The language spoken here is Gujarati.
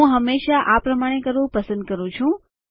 હું હંમેશા આ પ્રમાણે કરવું પસંદ કરું છું